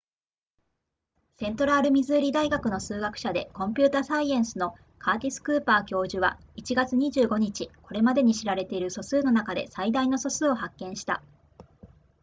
セントラルミズーリ大学の数学者でコンピュータサイエンスのカーティスクーパー教授は1月25日これまでに知られている素数の中で最大の素数を発見した